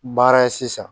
Baara ye sisan